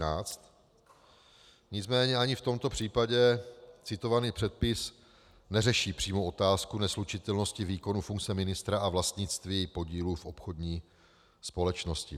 Nicméně ani v tomto případě citovaný předpis neřeší přímou otázku neslučitelnosti výkonu funkce ministra a vlastnictví podílu v obchodní společnosti.